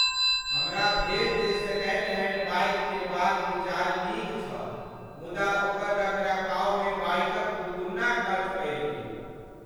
हमरा भेल जे सेकेंड हैंड बाइक किनबाक विचार नीक छल मुदा ओकर रखरखावमे बाइकक दूगुन्ना खर्च पड़ि गेल।